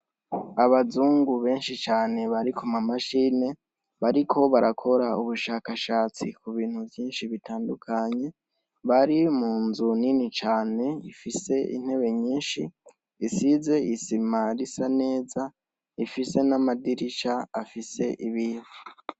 Abazungu benshi cane bari kumamashini bariko barakora ubushakashatsi kubintu vyinshi bitandukanye bari munzu nini cane ifise intebe nyinshi isize isima risa neza ifise n'amadirisha afise ibiyo.